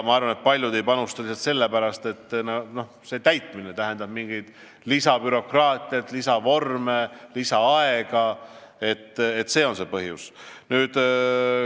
See raporteerimine tähendab lisabürokraatiat, lisavorme, lisaaega, see on see põhjus.